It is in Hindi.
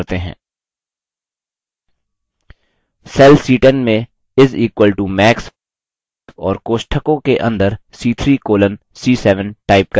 cell c10 में is equal to max और कोष्ठकों के अंदर c3 colon c7 type करें